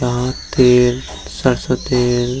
यहाँ तेल सरसों तेल --